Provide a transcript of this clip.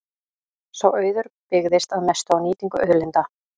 Sá auður byggðist að mestu á nýtingu auðlinda.